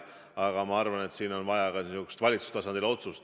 Aga ma arvan, et siin on vaja ka valitsustasandil otsust.